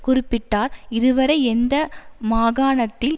குறிப்பிட்டார் இதுவரை இந்த மாகாணத்தில்